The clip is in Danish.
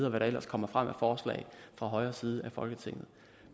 og hvad der ellers kommer frem af forslag fra højre side af folketinget